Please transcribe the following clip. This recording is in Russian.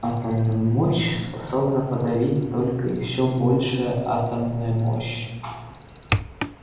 атомную мощь способна подавить только еёе большая атомная мощь